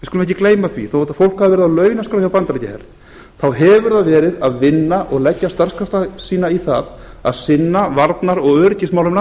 á launaskrá hjá bandaríkjaher við skulum ekki gleyma því þá hefur það verið að vinna og leggja starfskrafta sína í það að sinna varnar og öryggismálum